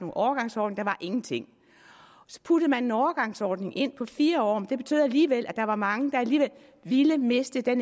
overgangsordning der var ingenting så puttede man en overgangsordning ind på fire år det betød alligevel at der var mange der ville miste det